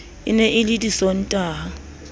e ne e le disontaha